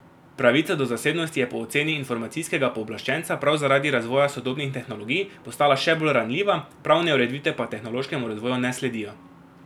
Pravica do zasebnosti je po oceni informacijskega pooblaščenca prav zaradi razvoja sodobnih tehnologij postala še bolj ranljiva, pravne ureditve pa tehnološkemu razvoju ne sledijo.